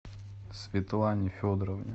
светлане федоровне